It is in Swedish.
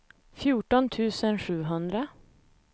fjorton tusen sjuhundra